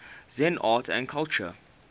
zen art and culture